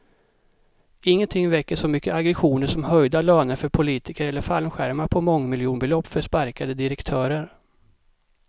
Ingenting väcker så mycket aggressioner som höjda löner för politiker eller fallskärmar på mångmiljonbelopp för sparkade direktörer.